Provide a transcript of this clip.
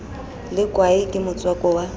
le kwae ke motswako wa